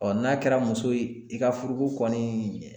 n'a kɛra muso ye i ka furu ko kɔni